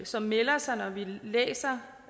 som meldte sig da vi